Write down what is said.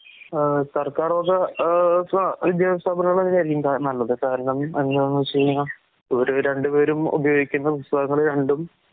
ആഹ് സർക്കാർവക ആഹ്സ വിദ്യാസ്ഥാപനങ്ങളൊക്കെയാരിക്കുംകാൽ നല്ലത്. കാരണം ഇവര് രണ്ടുപേരും ഉപയിഗിക്കുന്ന പുസ്തകങ്ങള് രണ്ടും